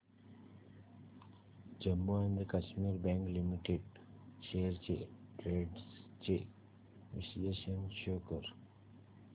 Jammu and Kashmir bank limited shares trends चे विश्लेषण show कर